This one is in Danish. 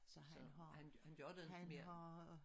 Så han har han har